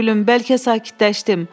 Doyunca gülüm, bəlkə sakitləşdim.